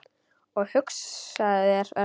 Og hugsaðu þér, Örn.